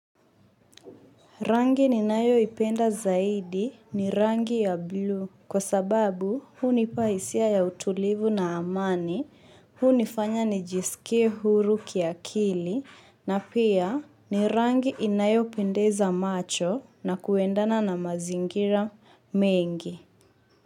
Rangi ninayoipenda zaidi ni rangi ya blue kwa sababu hunipa hisia ya utulivu na amani hunifanya ni jiske huru kiakili na pia ni rangi inayopendeza macho na kuendana na mazingira mengi.